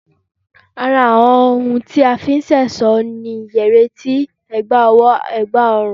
Ara àwọn ohun tí a fi ń ṣe ẹ̀ṣọ́ ni, yẹrí etí, ẹ̀gbà ọwọ́, ẹ̀gbà ọrùn